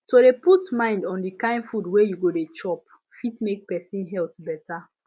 to dey put mind on the kind food wey you go dey chop fit make person health better